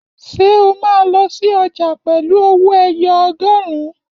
Ṣé o máa lọ sí ọjà pẹ̀lú owó ẹyọ ọgọrun?